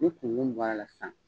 Ni kunkun bɔr' la sisan.